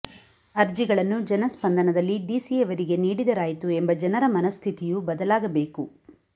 ಅರ್ಜಿಗಳನ್ನು ಜನಸ್ಪಂದನದಲ್ಲಿ ಡಿಸಿ ಯವರಿಗೆ ನೀಡಿದರಾಯಿತು ಎಂಬ ಜನರ ಮನಸ್ಥಿತಿಯೂ ಬದಲಾಗಬೇಕು